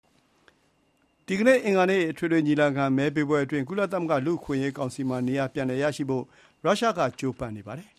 ဒီကနေ့ အင်္ဂါနေ့ အထွေထွေညီလာခံ မဲပေးပွဲအတွင်း ကုလသမဂ္ဂ လူ့အခွင့်အရေးကောင်စီမှာ နေရာပြန်ရဖို့ ရုရှားက ကြိုးစားနေပါတယ်